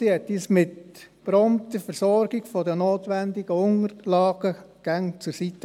Sie stand uns durch eine prompte Versorgung mit den notwendigen Unterlagen immer zur Seite.